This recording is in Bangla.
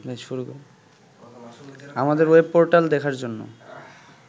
আমাদের ওয়েবপোর্টাল দেখার জন্য